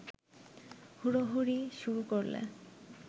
হুড়োহুড়ি শুরু করলে